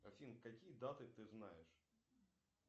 афина какие даты ты знаешь